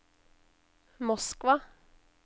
Moskva